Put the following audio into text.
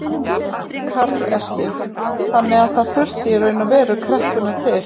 Karl Eskil: Þannig að það þurfti í raun og veru kreppuna til?